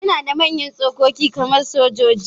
Yana da manyan tsokoki kamar sojoji.